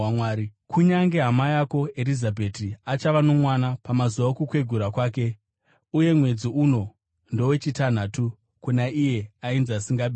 Kunyange hama yako Erizabheti achava nomwana pamazuva okukwegura kwake, uye mwedzi uno ndowechitanhatu kuna iye ainzi asingabereki.